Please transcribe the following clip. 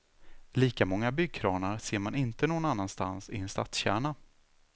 Lika många byggkranar ser man inte någon annanstans i en stadskärna.